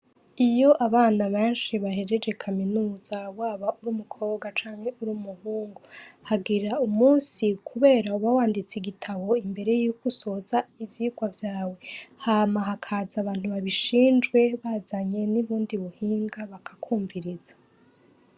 Iyo abana benshi bahejeje kaminuza baba uri umukobwa canke uri umuhungu, hagera umunsi kubera uba wanditse igitabu imbere yuko usoza ivyigwa vyawe, hama hakaza abantu babishinzwe bazanye n'ubundi buhinga bakakwumviriza.